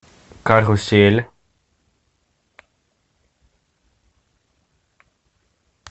карусель